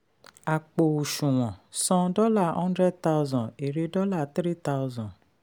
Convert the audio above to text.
àpò òṣùwọ̀n: san hundred thousand dollar èrè three thousand dollar